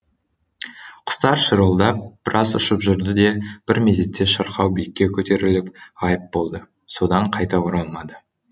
құстар шырылдап біраз ұшып жүрді де бір мезетте шырқау биікке көтеріліп ғайып болды содан қайта оралмады